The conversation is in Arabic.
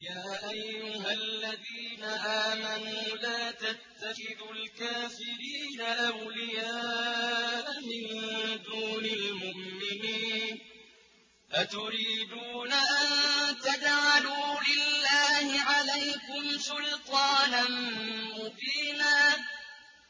يَا أَيُّهَا الَّذِينَ آمَنُوا لَا تَتَّخِذُوا الْكَافِرِينَ أَوْلِيَاءَ مِن دُونِ الْمُؤْمِنِينَ ۚ أَتُرِيدُونَ أَن تَجْعَلُوا لِلَّهِ عَلَيْكُمْ سُلْطَانًا مُّبِينًا